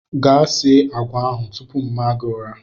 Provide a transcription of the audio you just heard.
Gaa sie agwa ahụ tupu mma gi ụra!